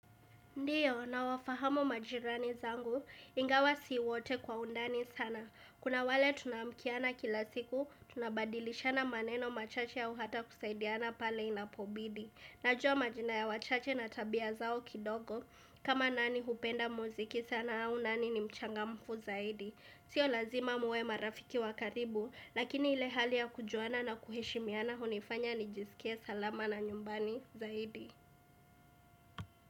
Ndiyo, nawafahamu majirani zangu, ingawa si wote kwa undani sana. Kuna wale tunaamkiana kila siku, tunabadilishana maneno machache au hata kusaidiana pale inapobidi. Najua majina ya wachache na tabia zao kidogo, kama nani hupenda muziki sana au nani ni mchangamfu zaidi. Sio lazima muwe marafiki wa karibu, lakini ile hali ya kujuana na kuheshimiana hunifanya nijisikie salama na nyumbani zaidi.